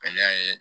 A y'a ye